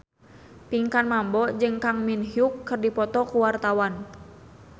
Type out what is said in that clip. Pinkan Mambo jeung Kang Min Hyuk keur dipoto ku wartawan